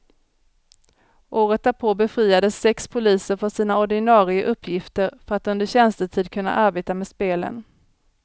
Året därpå befriades sex poliser från sina ordinare uppgifter för att under tjänstetid kunna arbeta med spelen.